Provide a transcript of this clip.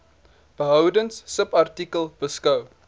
behoudens subartikel beskou